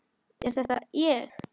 Er þetta ég!?